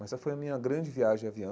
Mas essa foi a minha grande viagem de avião.